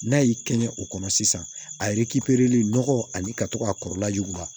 N'a y'i kɛɲɛ o kɔnɔ sisan a nɔgɔ ani ka to ka kɔrɔla juguya